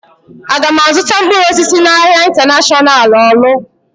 Aga m azụta mkpụrụ osisi n'ahia Intanashọnal Ọọlụ?